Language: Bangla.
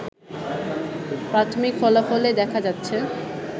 প্রাথমিক ফলাফলে দেখা যাচ্ছে